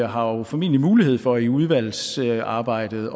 har jo formentlig mulighed for i udvalgsarbejdet